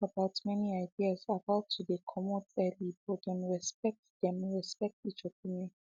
dem talk about many ideas about to dey come earlybut them respect them respect each opinion